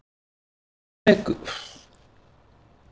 Hver vekur mesta athygli í sumar?